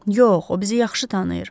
Yox, o bizi yaxşı tanıyır.